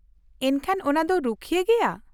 -ᱮᱱᱠᱷᱟᱱ, ᱚᱱᱟ ᱫᱚ ᱨᱩᱠᱷᱤᱭᱟᱹ ᱜᱮᱭᱟ?